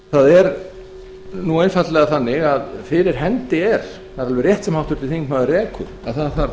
það er einfaldlega þannig að fyrir hendi er það er alveg rétt sem háttvirtur þingmaður rekur að það þarf